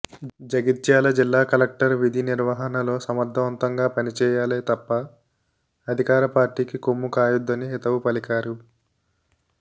జగిత్యాల జిల్లా కలెక్టర్ విధి నిర్వహణలో సమర్థవంతంగా పనిచేయాలే తప్ప అధికార పార్టీకి కొమ్ము కాయొద్దని హితవు పలికారు